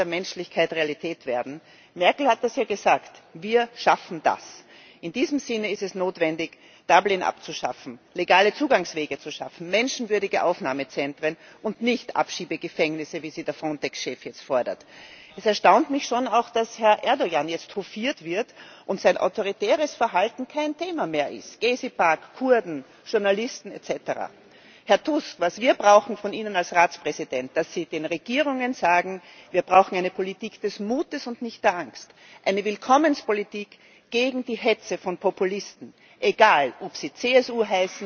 tatsächlich Realität werden muss. Merkel hat das ja gesagt Wir schaffen das. In diesem Sinne ist es notwendig, Dublin abzuschaffen, legale Zugangswege zu schaffen, menschenwürdige Aufnahmezentren und nicht Abschiebegefängnisse, wie sie der Frontex Chef jetzt fordert. Es erstaunt mich schon auch, dass Herr Erdoğan jetzt hofiert wird und sein autoritäres Verhalten kein Thema mehr ist Gezi Park, Kurden, Journalisten etc. Herr Tusk, was wir von Ihnen als Ratspräsident brauchen, ist, dass Sie den Regierungen sagen Wir brauchen eine Politik des Mutes und nicht der Angst, eine Willkommenspolitik gegen die Hetze von Populisten, egal ob